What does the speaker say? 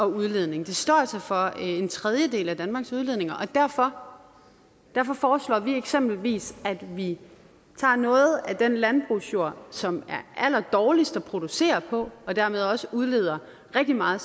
udledning de står altså for en tredjedel af danmarks udledninger og derfor derfor foreslår vi eksempelvis at vi tager noget af den landbrugsjord som er allerdårligst at producere på og dermed også udleder rigtig meget